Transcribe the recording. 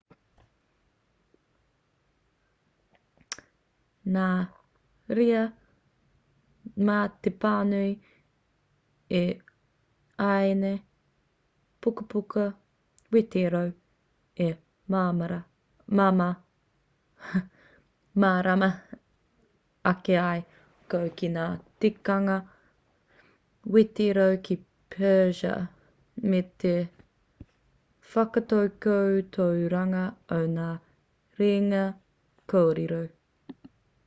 nā reira mā te pānui i ēnei pukapuka wetereo e mārama ake ai koe ki ngā tikanga wetereo ki persia me te whakatakotoranga o ngā rerenga kōrero